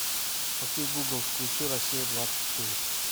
окей гугл включи россия двадцать четыре